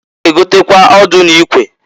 Ha ga-egota ọdụ na ikwe